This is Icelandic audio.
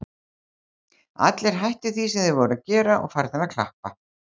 Allir hættir því sem þeir voru að gera og farnir að klappa.